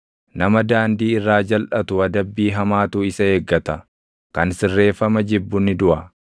Nama daandii irraa jalʼatu adabbii hamaatu isa eeggata; kan sirreeffama jibbu ni duʼa.